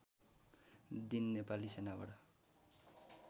दिन नेपाली सेनाबाट